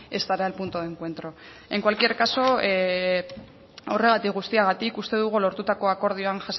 estará el punto de encuentro en cualquier caso horregatik guztiagatik uste dugu lortutako akordioan